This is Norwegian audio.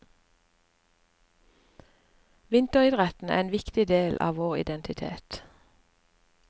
Vinteridrettene er en viktig del av vår identitet.